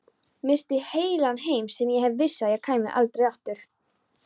Missti heilan heim sem ég vissi að kæmi aldrei aftur.